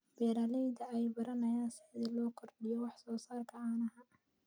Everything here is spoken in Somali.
Beeralayda ayaa baranaya sida loo kordhiyo wax soo saarka caanaha.